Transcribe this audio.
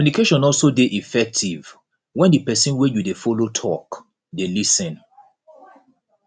communication also de effective when di persin wey you de follow talk de lis ten